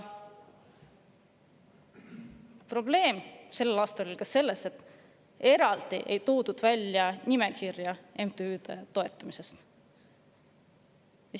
Probleem on selles, et sel aastal ei toodud eraldi välja MTÜ-de toetamise nimekirja.